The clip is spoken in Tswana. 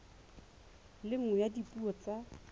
le nngwe ya dipuo tsa